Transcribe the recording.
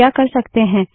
हम क्या कर सकते हैं